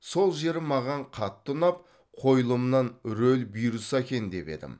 сол жері маған қатты ұнап қойылымнан рөл бұйырса екен деп едім